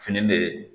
Fini de